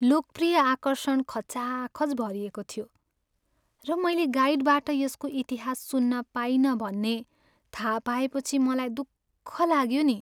लोकप्रिय आकर्षण खचाखच भरिएको थियो, र मैले गाइडबाट यसको इतिहास सुन्न पाइनँ भन्ने थाहा लागेपछि मलाई दुःख लाग्यो नि।